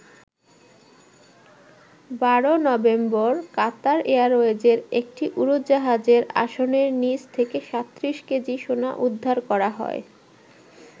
১২ November Qatar এয়ারওয়েজের একটি উড়োজাহাজের আসনের নিচ থেকে ৩৭ কেজি সোনা উদ্ধার করা হয়।